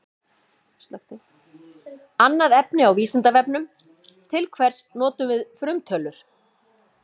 Annað efni á Vísindavefnum: Til hvers notum við frumtölur?